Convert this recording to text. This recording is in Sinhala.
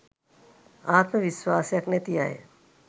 ආත්ම විස්වාසයක් නැති අය